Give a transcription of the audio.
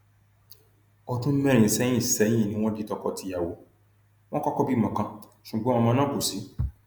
ọdún mẹrin sẹyìn sẹyìn ni wọn di tọkọtìyàwó wọn kọkọ bímọ kan ṣùgbọn ọmọ náà kò sí